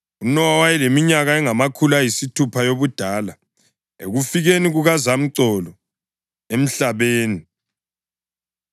UNowa wayeleminyaka engamakhulu ayisithupha yobudala ekufikeni kukazamcolo emhlabeni.